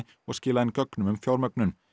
og skilað inn gögnum um fjármögnun